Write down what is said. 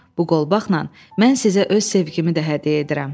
Bu qolbaqla mən sizə öz sevgimi də hədiyyə edirəm.